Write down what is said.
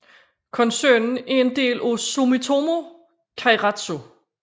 Koncernen er en del af Sumitomo keiretsu